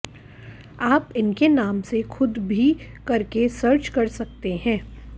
आप इनके नाम से ख़ुद भी करके सर्च कर सकते हैं